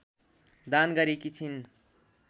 दान गरेकी छिन्